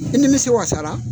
I nimisi wasara.